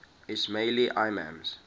ismaili imams